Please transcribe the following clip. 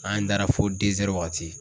An dara fo wagati.